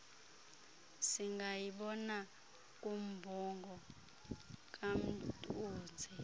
singayibona kumbongo kamtuze